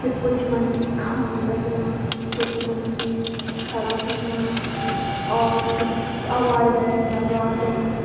फिर कुछ मनखी खाण लग्याँ कुछ मनखी खड़ा हुंयां और फिर अग्वाड़ी बिठिन दरवाजन।